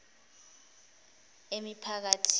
emiphakathini